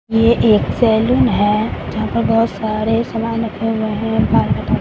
ये एक सैलून है जहां पर बहोत सारे समान रखे हुए हैं बाल कटाने --